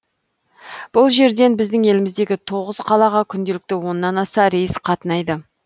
бұл жерден біздің еліміздегі тоғыз қалаға күнделікті оннан аса рейс қатынайды